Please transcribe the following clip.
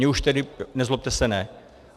Mně už tedy, nezlobte se, ne.